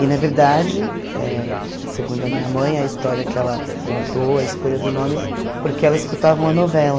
E, na verdade, eh segundo a minha mãe, a história que ela contou, a escolha do nome, porque ela escutava uma novela